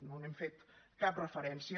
no hi hem fet cap referència